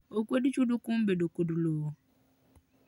Okwed chudo kuom bedo kod lowo